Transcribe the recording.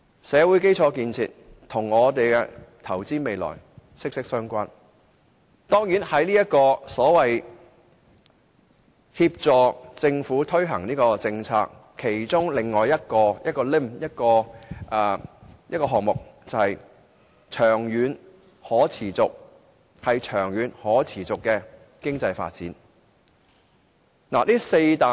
社會基建與投資未來息息相關，而當然，在協助政府推行政策方面，另一點是促進長遠可持續的經濟發展。